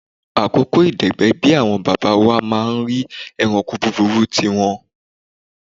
Àkókò ìdẹ̀gbẹ́ bí àwọn bàbá wa máa ń rí ẹranko búburú tí wọn.